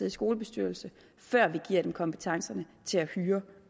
i skolebestyrelse før vi giver dem kompetencerne til at hyre